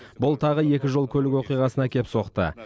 бұл тағы екі жол көлік оқиғасына әкеп соқты